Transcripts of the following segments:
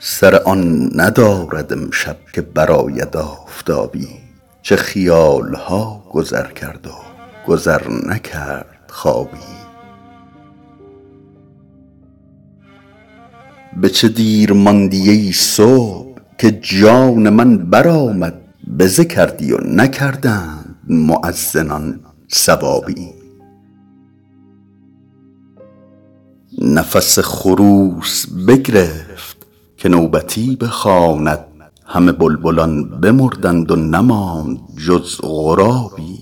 سر آن ندارد امشب که برآید آفتابی چه خیال ها گذر کرد و گذر نکرد خوابی به چه دیر ماندی ای صبح که جان من برآمد بزه کردی و نکردند مؤذنان ثوابی نفس خروس بگرفت که نوبتی بخواند همه بلبلان بمردند و نماند جز غرابی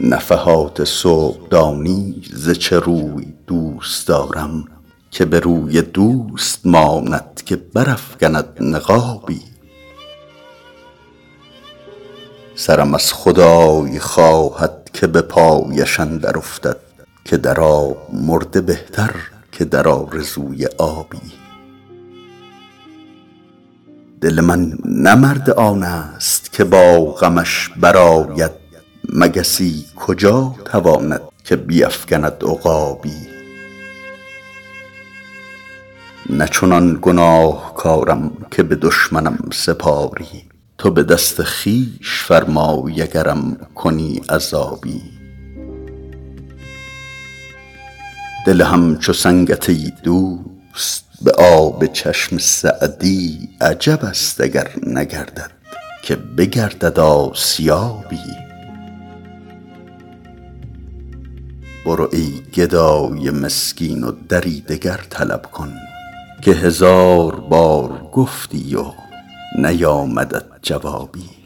نفحات صبح دانی ز چه روی دوست دارم که به روی دوست ماند که برافکند نقابی سرم از خدای خواهد که به پایش اندر افتد که در آب مرده بهتر که در آرزوی آبی دل من نه مرد آن ست که با غمش برآید مگسی کجا تواند که بیفکند عقابی نه چنان گناهکارم که به دشمنم سپاری تو به دست خویش فرمای اگرم کنی عذابی دل همچو سنگت ای دوست به آب چشم سعدی عجب است اگر نگردد که بگردد آسیابی برو ای گدای مسکین و دری دگر طلب کن که هزار بار گفتی و نیامدت جوابی